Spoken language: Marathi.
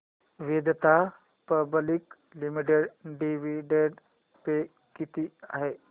Vedanta public limited dividend pay किती आहे